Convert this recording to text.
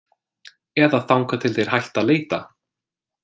Eða þangað til þeir hætta að leita.